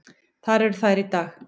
Þar eru þær í dag.